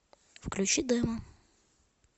включи демо